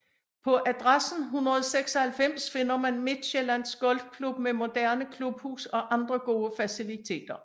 På adressen 196 finder man Midtsjællands Golfklub med moderne klubhus og andre gode faciliteter